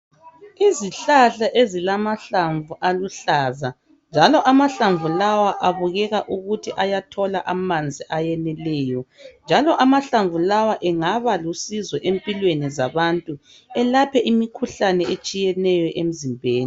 Izihlahla ezilamahlamvu aluhlaza, njalo amahlamvu lawa abukeka ukuthi ayathola amanzi aneleyo njalo amahlamvu lawa engaba lusizo empilweni zabantu elaphe imikhuhlane etshiyeneyo